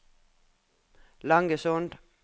Langesund